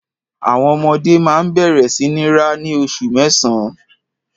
Àwọn ọmọdé máa ń bẹ̀rẹ̀ sí ní rá ní oṣù mẹ́sàn-án.